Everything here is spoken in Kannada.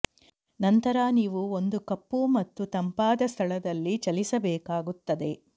ನಂತರ ನೀವು ಒಂದು ಕಪ್ಪು ಮತ್ತು ತಂಪಾದ ಸ್ಥಳದಲ್ಲಿ ಚಲಿಸಬೇಕಾಗುತ್ತದೆ